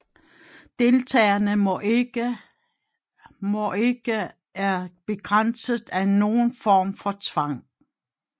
Deltagerne må ikke er begrænset af nogen form for tvang